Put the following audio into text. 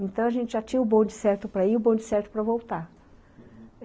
Então, a gente já tinha o bonde certo para ir e o bonde certo para voltar, uhum.